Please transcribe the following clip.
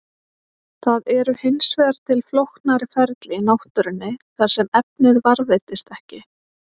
Það eru hins vegar til flóknari ferli í náttúrunni þar sem efnið varðveitist ekki.